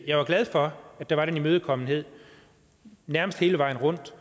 jeg var glad for at der var den imødekommenhed nærmest hele vejen rundt